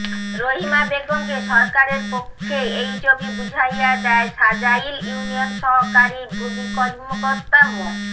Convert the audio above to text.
রহিমা বেগমকে সরকারের পক্ষে এই জমি বুঝাইয়া দেয় সাজাইল ইউনিয়ন সহকারী ভূমি কর্মকর্তা মো